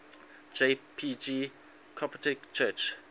jpg coptic church